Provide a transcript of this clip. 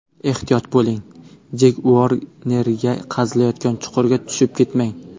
Ehtiyot bo‘ling, Jek Uornerga qazilayotgan chuqurga tushib ketmang”.